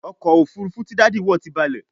ọkọ̀ òfurufú tí Daddy wọ tí balè